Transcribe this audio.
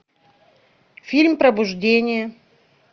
фильм пробуждение